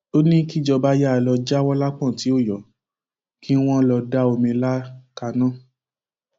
ó ní kíjọba yàà lọọ jáwọ lápọn tí ó yọ kí wọn lọọ da omi ìlà kaná